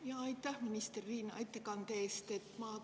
Jaa, aitäh, minister Riina, ettekande eest!